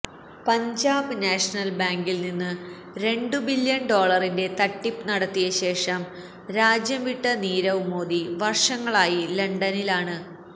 Punjab National ബാങ്കിൽനിന്ന് രണ്ടു billion ഡോളറിന്റെ തട്ടിപ്പ് നടത്തിയ ശേഷം രാജ്യവിട്ട നിരവ് മോഡി വർഷങ്ങളായി ലണ്ടനിലാണ്